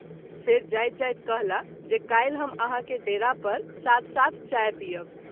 फेरि जाइत जाइत कहला जे काल्हि हम आहाँ के डेरा पर साथ-साथ चाय पीअब।